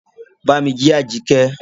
Bámí jí Àjíkẹ́!